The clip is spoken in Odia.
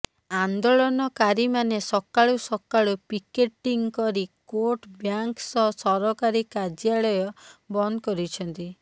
ଆନ୍ଦୋଳନକାରୀମାନେ ସକାଳୁ ସକାଳୁ ପିକେଟିଂ କରି କୋର୍ଟ ବ୍ୟାଙ୍କ ସହ ସରକାରୀ କାର୍ୟ୍ୟାଳୟ ବନ୍ଦ କରିଛନ୍ତି